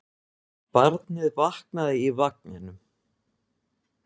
Barnið vaknaði í vagninum.